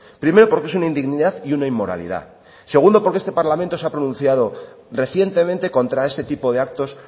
primero porque es una indignidad y una inmoralidad segundo porque este parlamento se ha pronunciado recientemente contra este tipo de actos